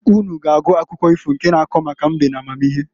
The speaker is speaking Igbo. Unu ga agụ akụkọ ifo nke na-ako maka mbe n'amamihe.